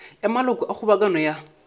ya maloko a kgobokano ya